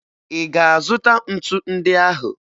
Ị ga-azụta ntu ndị ahụ?